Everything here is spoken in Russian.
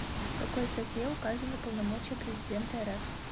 в какой статье указаны полномочия президента рф